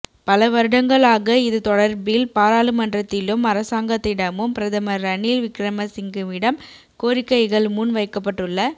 பல வருடங்களாக இது தொடர்பில் பாராளுமன்றத்திலும் அரசாங்கத்திடமும் பிரதமர் ரணில் விக்கிரமசிங்கவிடம் கோரிக்கைகள் முன் வைக்கப்பட்டுள்ள